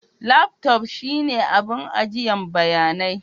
Laftof shine abin agiyan bayanai.